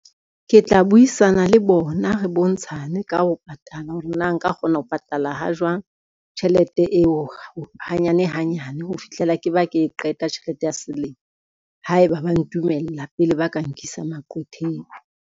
Ke tla buisana le bona re bontshane ka ho patala hore na nka kgona ho patala ha jwang, tjhelete eo hanyane hanyane ho fihlela ke ba ke qeta tjhelete ya selemo, haeba ba ntumella pele ba ka nkisa maqwetheng.